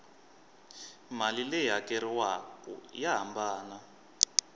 mali leyi hakeriwaku ya hambana